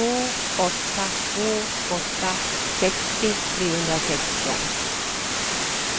två åtta två åtta sextio trehundrasexton